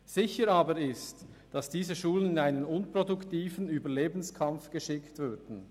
Es ist aber sicher, dass diese Schulen in einen unproduktiven Überlebenskampf geschickt würden.